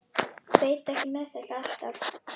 Veit ekki með þetta alltaf.